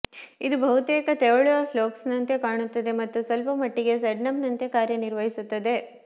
ಇದು ಬಹುತೇಕ ತೆವಳುವ ಫ್ಲೋಕ್ಸ್ನಂತೆ ಕಾಣುತ್ತದೆ ಮತ್ತು ಸ್ವಲ್ಪಮಟ್ಟಿಗೆ ಸೆಡಮ್ನಂತೆ ಕಾರ್ಯನಿರ್ವಹಿಸುತ್ತದೆ